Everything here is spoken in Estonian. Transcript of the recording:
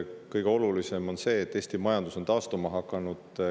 Kõige olulisem on see, et Eesti majandus on taastuma hakanud.